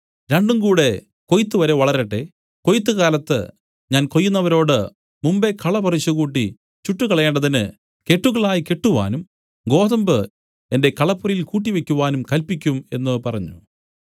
രണ്ടുംകൂടെ കൊയ്ത്തുവരെ വളരട്ടെ കൊയ്ത്ത് കാലത്ത് ഞാൻ കൊയ്യുന്നവരോട് മുമ്പെ കള പറിച്ചുകൂട്ടി ചുട്ടുകളയേണ്ടതിന് കെട്ടുകളായി കെട്ടുവാനും ഗോതമ്പു എന്റെ കളപ്പുരയിൽ കൂട്ടിവയ്ക്കുവാനും കല്പിക്കും എന്നു പറഞ്ഞു